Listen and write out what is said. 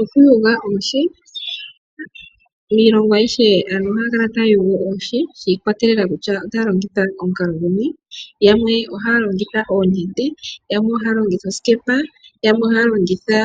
Okuyula oohi Iilongo ayihe aantu ohaya kala taya yula oohi shi ikwatelela kutya otaya longitha omukalo guni. Yamwe ohaya longitha oonete, yamwe ohaya longitha osikepa, yamwe ohaya longitha